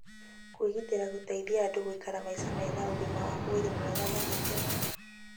Kwĩgitĩra gũteithagia andũ gũikara maica mena ũgima wa mwĩrĩ mwega na gĩkeno